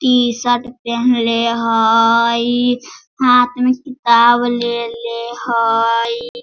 T-shirt पेहनले हईई हाथ में किताब लेले हईई।